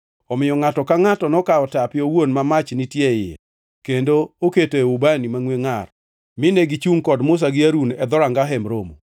Omiyo ngʼato ka ngʼato nokawo tape owuon ma mach nitie iye kendo oketoe ubani mangʼwe ngʼar mine gichungʼ kod Musa gi Harun e dhoranga Hemb Romo.